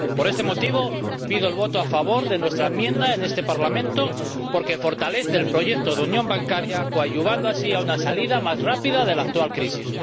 Por este motivo, pido el voto a favor de nuestra enmienda en este Parlamento, porque fortalece el proyecto de unión bancaria, coadyuvando así una salida más rápida de la actual crisis.